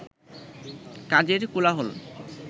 কাজের কোলাহল